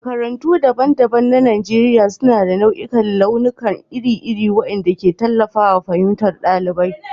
Makarantu daban-daban na Najeriya suna da nau'ikan launuka iri-iri waɗanda ke tallafawa fahimtar ɗalibi.